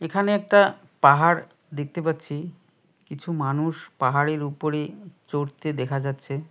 এখানে একটা পাহাড় দেখতে পাচ্ছি কিছু মানুষ পাহাড়ের উপরে চড়তে দেখা যাচ্ছে।